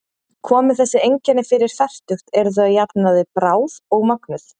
Komi þessi einkenni fyrir fertugt eru þau að jafnaði bráð og mögnuð.